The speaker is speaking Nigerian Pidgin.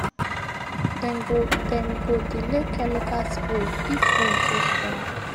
dem go dem go delay chemical spray if wind too strong